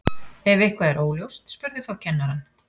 ef eitthvað er óljóst spurðu þá kennarann